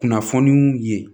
Kunnafoniw ye